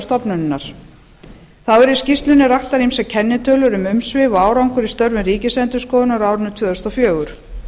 stofnunarinnar þá eru í skýrslunni raktar ýmsar kennitölur um umsvif og árangur í störfum ríkisendurskoðunar á árinu tvö þúsund og fjögur